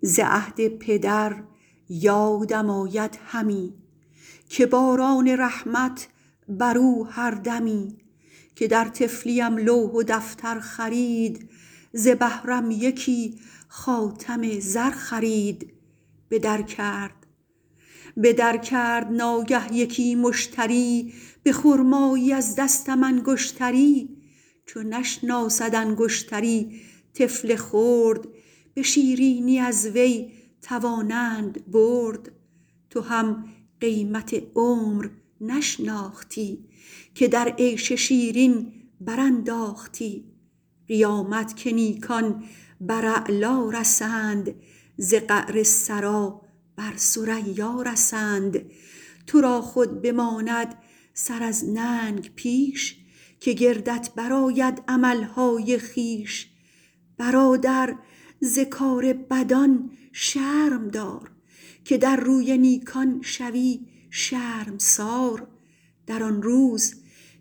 ز عهد پدر یادم آید همی که باران رحمت بر او هر دمی که در طفلیم لوح و دفتر خرید ز بهرم یکی خاتم زر خرید به در کرد ناگه یکی مشتری به خرمایی از دستم انگشتری چو نشناسد انگشتری طفل خرد به شیرینی از وی توانند برد تو هم قیمت عمر نشناختی که در عیش شیرین برانداختی قیامت که نیکان بر اعلا رسند ز قعر ثری بر ثریا رسند تو را خود بماند سر از ننگ پیش که گردت برآید عملهای خویش برادر ز کار بدان شرم دار که در روی نیکان شوی شرمسار در آن روز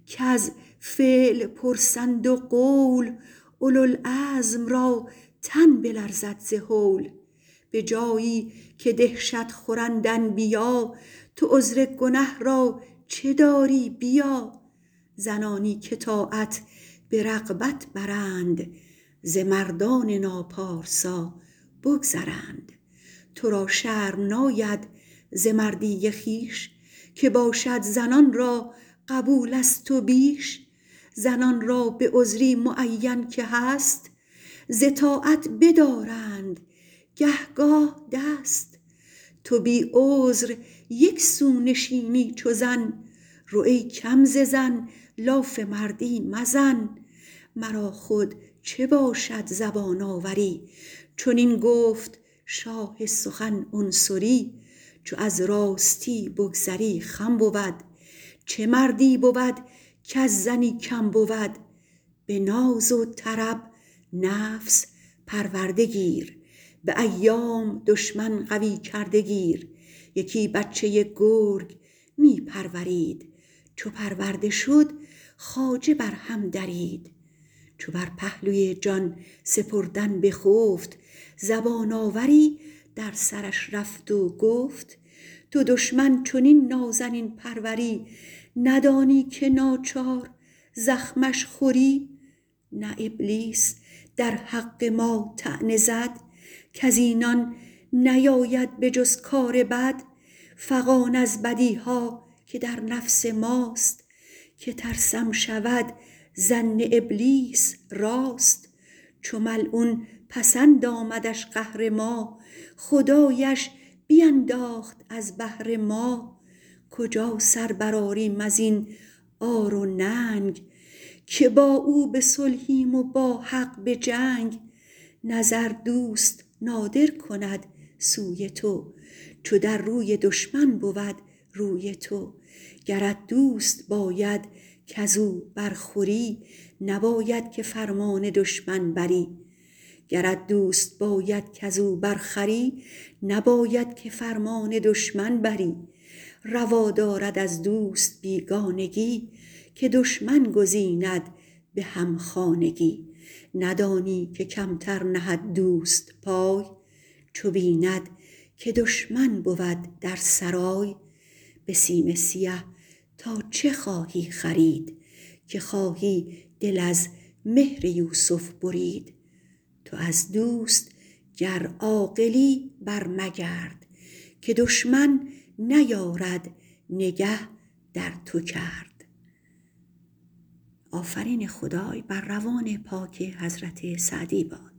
کز فعل پرسند و قول اولوالعزم را تن بلرزد ز هول به جایی که دهشت خورند انبیا تو عذر گنه را چه داری بیا زنانی که طاعت به رغبت برند ز مردان ناپارسا بگذرند تو را شرم ناید ز مردی خویش که باشد زنان را قبول از تو بیش زنان را به عذری معین که هست ز طاعت بدارند گه گاه دست تو بی عذر یک سو نشینی چو زن رو ای کم ز زن لاف مردی مزن مرا خود چه باشد زبان آوری چنین گفت شاه سخن عنصری چو از راستی بگذری خم بود چه مردی بود کز زنی کم بود به ناز و طرب نفس پرورده گیر به ایام دشمن قوی کرده گیر یکی بچه گرگ می پرورید چو پرورده شد خواجه بر هم درید چو بر پهلوی جان سپردن بخفت زبان آوری در سرش رفت و گفت تو دشمن چنین نازنین پروری ندانی که ناچار زخمش خوری نه ابلیس در حق ما طعنه زد کز اینان نیاید به جز کار بد فغان از بدیها که در نفس ماست که ترسم شود ظن ابلیس راست چو ملعون پسند آمدش قهر ما خدایش بینداخت از بهر ما کجا سر برآریم از این عار و ننگ که با او به صلحیم و با حق به جنگ نظر دوست نادر کند سوی تو چو در روی دشمن بود روی تو گرت دوست باید کز او بر خوری نباید که فرمان دشمن بری روا دارد از دوست بیگانگی که دشمن گزیند به همخانگی ندانی که کمتر نهد دوست پای چو بیند که دشمن بود در سرای به سیم سیه تا چه خواهی خرید که خواهی دل از مهر یوسف برید تو از دوست گر عاقلی بر مگرد که دشمن نیارد نگه در تو کرد